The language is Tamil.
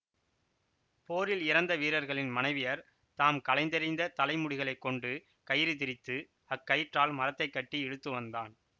போரில் இறந்த வீரர்களின் மனைவியர் தாம் களைந்தெறிந்த தலை முடிகளைக் கொண்டு கயிறு திரித்து அக் கயிற்றால் மரத்தைக் கட்டி இழுத்துவந்தான்